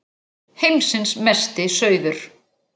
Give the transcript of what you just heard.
Heimsins Mesti Sauður!